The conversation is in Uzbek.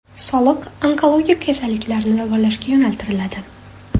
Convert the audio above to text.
Soliq onkologik kasalliklarni davolashga yo‘naltiriladi.